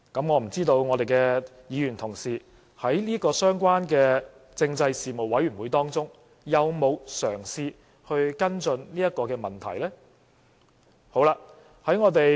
我不知道我們的議員同事在這個相關的政制事務委員會當中有否嘗試跟進這個問題。